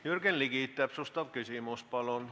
Jürgen Ligi, täpsustav küsimus, palun!